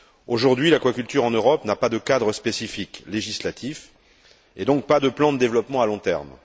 Aujourd'hui, l'aquaculture en Europe n'a pas de cadre spécifique législatif, et donc pas de plan de développement à long terme.